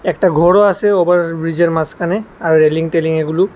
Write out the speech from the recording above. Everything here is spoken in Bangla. একটা ঘরও আছে ওভারব্রিজের মাঝখানে আর রেলিং টেলিং এগুলো।